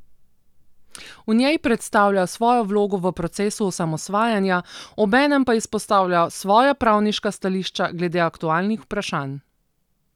V njej predstavlja svojo vlogo v procesu osamosvajanja, obenem pa izpostavlja svoja pravniška stališča glede aktualnih vprašanj.